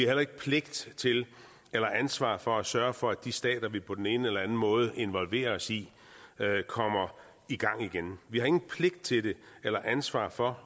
heller ikke pligt til eller ansvar for at sørge for at de stater vi på den ene eller enden måde involverer os i kommer i gang igen vi har ingen pligt til eller ansvar for